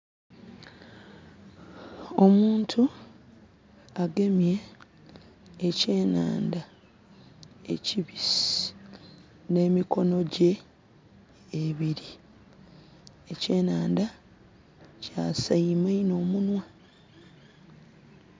Omuntu agemye ekyenandha ekibisi ne mikono gye ebiri, ekyenandha kyaseime inho omunhwa.